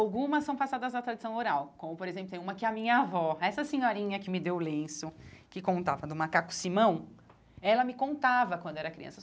Algumas são passadas na tradição oral, como, por exemplo, tem uma que a minha avó, essa senhorinha que me deu o lenço, que contava do macaco Simão, ela me contava quando era criança.